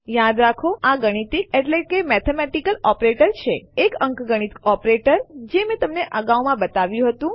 યાદ રાખો આ ગાણિતિક એટલે કે મેથેમેટિકલ ઑપરેટર છે એક અંકગણિત ઓપરેટર જે મેં તમને અગાઉ બતાવ્યું હતું